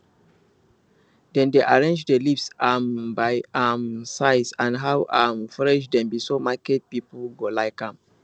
dem dey arrange the leaves um by um size and how um fresh dem be so market people go like am